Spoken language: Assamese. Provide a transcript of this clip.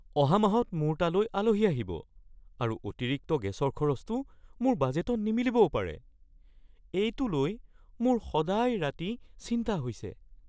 অহা মাহত মোৰ তালৈ আলহী আহিব আৰু অতিৰিক্ত গেছৰ খৰচটো মোৰ বাজেটট নিমিলিবও পাৰে। এইটো লৈ মোৰ সদায় ৰাতি চিন্তা হৈছে।